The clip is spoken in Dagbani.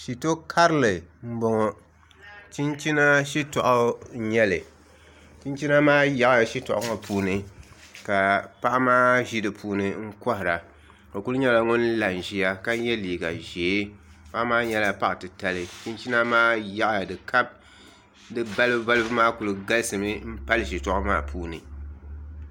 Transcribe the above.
Shito karili n boŋo chinchina shitoɣu n nyɛli chinchina maa yaɣaya shitoɣu ŋo puuni ka paɣa maa ʒi di puuni n kohara o ku nyɛla ŋun la n ʒiya ka yɛ liiga ʒiɛ paɣa maa nyɛla paɣa titali chinchina maa yaɣaya di ka di balibu balibu maa ku galisimi n pali shitoɣu maa puuni